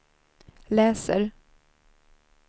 läser